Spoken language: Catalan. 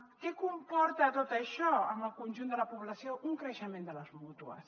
què comporta tot això en el conjunt de la població un creixement de les mútues